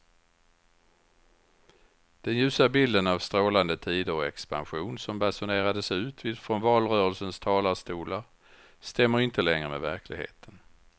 Den ljusa bilden av strålande tider och expansion som basunerades ut från valrörelsens talarstolar stämmer inte längre med verkligheten.